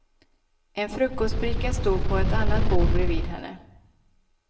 En frukostbricka stod på ett annat bord bredvid henne.